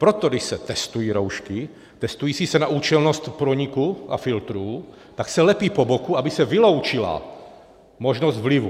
Proto když se testují roušky, testují se na účelnost průniku a filtrů, tak se lepí po boku, aby se vyloučila možnost vlivů.